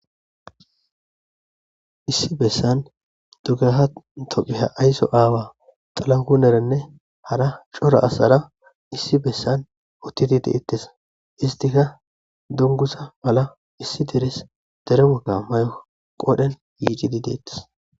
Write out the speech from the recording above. issi bessan dugaha tophiha ayso aawa xalanku nerenne hara cora asara issi bessan uttidi deettes istika dungusa mala issi deres dere muka may7o qodhen yiicidi deettes